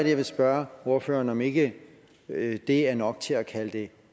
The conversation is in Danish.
jeg vil spørge ordføreren om ikke det er nok til at kalde det